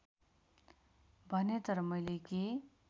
भने तर मैले के